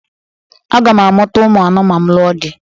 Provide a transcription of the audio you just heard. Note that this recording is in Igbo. Aga m amụta ụmụ anọ ma m lụọ di.